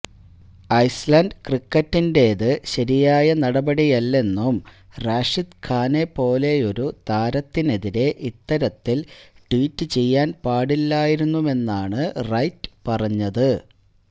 Iceland ക്രിക്കറ്റിന്റെത് ശരിയായ നടപടിയല്ലെന്നും റാഷിദ് ഖാനെപ്പോലെയൊരു താരത്തിനെതിരെ ഇത്തരത്തില് ട്വീറ്റ് ചെയ്യാന് പാടില്ലായിരുന്നെന്നുമാണ് റൈറ്റ് പറഞ്ഞത്